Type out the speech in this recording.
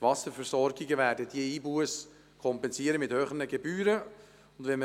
Die Wasserversorgungen werden diese Einbusse mit teuren Gebühren kompensieren.